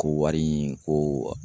Ko wari in ko